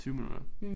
20 minutter